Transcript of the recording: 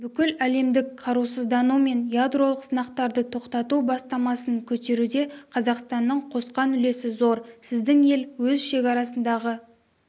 бүкіләлемдік қарусыздану мен ядролық сынақтарды тоқтату бастамасын көтеруде қазақстанның қосқан үлесі зор сіздің ел өз шекарасындағы